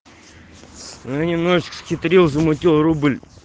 ну немножечко схитрил замутил рубль